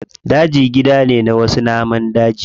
Daji gida ne na wasu namun daji.